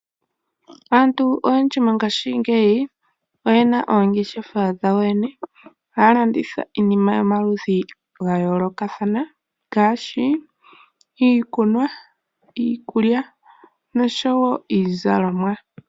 Aantu oyendji mongaashingeyi oyena oongeshefa dhayo yene. Haya landitha iinima yomaludhi ga yoolokathana ngaashi iiikunwa, iikulya nosho wo iizalomwa.